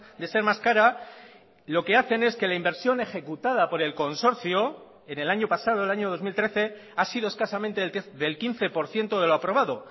de ser más cara lo que hacen es que la inversión ejecutada por el consorcio en el año pasado el año dos mil trece ha sido escasamente del quince por ciento de lo aprobado